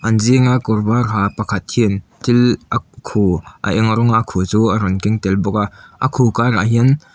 zinga kawr var ha pakhat hian thil a khu a eng rawnga khu chu a rawn keng tel bawk a a khu karah hian --